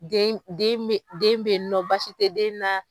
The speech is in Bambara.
Den den be bɔ baasi tɛ den na